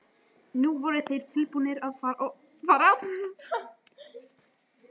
Nú voru þeir tilbúnir að fara.